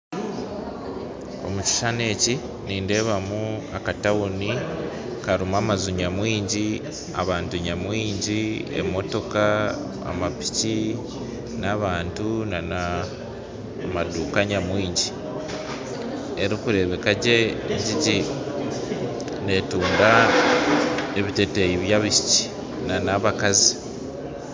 Omu kishushani eki nindeebamu akatawuni karimu amaju nyamwingi abantu nyamwingi, emotoka amapiki n'abantu namaduka nyamwingi. Erikureebeka gye netunda ebiteteyi by'abaishiki n'abakazi